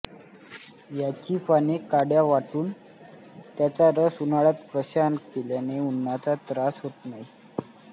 याची पाने काड्या वाटून त्याचा रस उन्हाळात प्रशान केल्याने उन्हाचा त्रास होत नाही